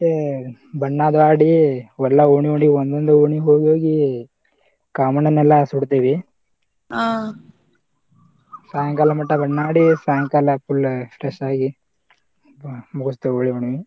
ಬಣ್ಣಾದು ಆಡಿ ಎಲ್ಲಾ ಓಣಿ ಓಣಿ ಒಂದೊಂದ ಓಣಿಗೆ ಹೋಗೋಗಿ ಕಾಮಣ್ಣನೆಲ್ಲ ಸುಡತೇವಿ ಸಾಯಂಕಾಲ ಮಟಾ ಬಣ್ಣಾ ಆಡಿ ಸಾಯಂಕಾಲಾದ ಕೂಡ್ಲೇ full stress ಆಗಿ .